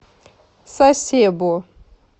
сасебо